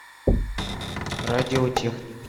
радиотехник